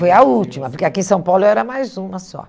Foi a última, porque aqui em São Paulo eu era mais uma só.